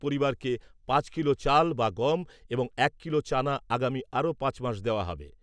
পরিবারকে পাঁচ কিলো চাল বা গম এবং এক কিলো চানা আগামী আরো পাঁচ মাস দেওয়া হবে।